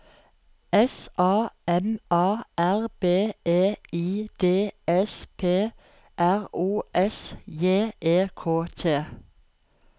S A M A R B E I D S P R O S J E K T